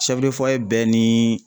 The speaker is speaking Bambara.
bɛɛ ni